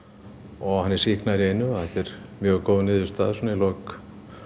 og hann er sýknaður í einu þetta er mjög góð niðurstaða svona í lok